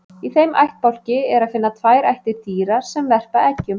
Í þeim ættbálki er að finna tvær ættir dýra sem verpa eggjum.